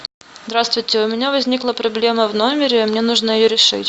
здравствуйте у меня возникла проблема в номере мне нужно ее решить